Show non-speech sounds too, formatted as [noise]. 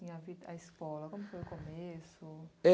em [unintelligible] a escola, como que foi o começo.